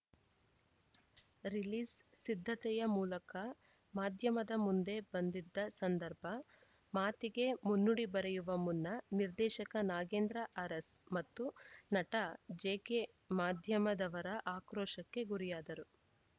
release ಸಿದ್ಧತೆಯ ಮೂಲಕ ಮಾಧ್ಯಮದ ಮುಂದೆ ಬಂದಿದ್ದ ಸಂದರ್ಭ ಮಾತಿಗೆ ಮುನ್ನುಡಿ ಬರೆಯುವ ಮುನ್ನ ನಿರ್ದೇಶಕ ನಾಗೇಂದ್ರ ಅರಸ್‌ ಮತ್ತು ನಟ ಜೆಕೆ ಮಾಧ್ಯಮದವರ ಆಕ್ರೋಶಕ್ಕೆ ಗುರಿಯಾದರು